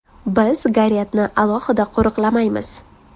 Biz Garetni alohida qo‘riqlamaymiz”.